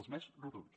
els més rotunds